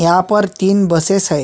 यहाँ पर तीन बसेस है।